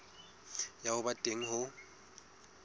ya ho ba teng ho